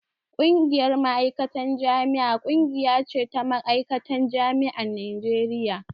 Ƙungiyar Ma'aikatan Jami'a ƙungiya ce ta ma'aikatan jami'an Najeriya